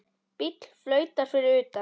Bíll flautar fyrir utan.